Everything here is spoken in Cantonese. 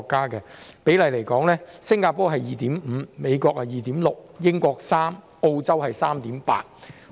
以人均醫生比例來說，新加坡是 2.5 名，美國是 2.6 名，英國是3名，澳洲是 3.8 名。